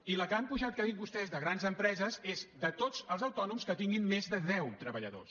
i la que han apujat que ha dit vostè de grans empreses és de tots els autònoms que tinguin més de deu treballadors